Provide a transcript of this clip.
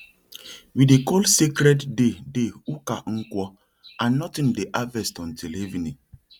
we dey call sacred day day uka nkwo and nothing dey harvest until evening